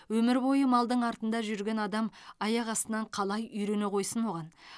өмір бойы малдың артында жүрген адам аяқ астынан қалай үйрене қойсын оған